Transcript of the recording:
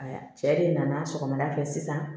Aa cɛ de nana sɔgɔmada fɛ sisan